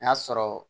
N'a sɔrɔ